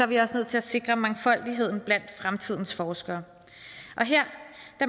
vi også nødt til at sikre mangfoldigheden blandt fremtidens forskere og her